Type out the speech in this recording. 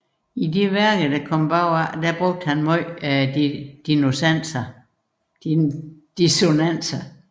I de senere værker brugte han meget dissonanser